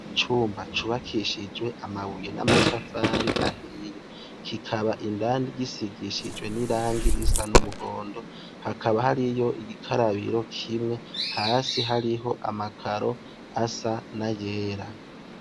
Icumba cubakishijwe amabuye namatafari ahiye kikaba gisigishijwe n’irangi risa n’umuhondo hakaba hariyo igikarabiro kimwe hasi hariho amakaro asa nayera.